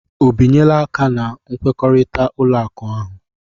O binyela aka na nkwekọrịta ụlọ akụ ahụ?